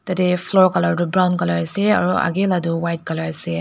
tatae floor colour tu brown colour ase aro akae la toh white colour ase.